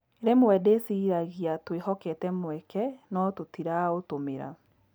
Rĩmwe ndĩciragia twĩhokete mweke no tũtiraũtũmĩra